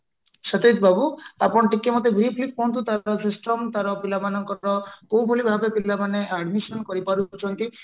ସତେଜ ବାବୁ ଆପଣ ଟିକେ ମତେ briefly କୁହନ୍ତୁ ତାର system ତାର ପିଲା ମାନଙ୍କର କୋଉଭଳି ପିଲାମାନେ admission କରିପାରୁଛନ୍ତି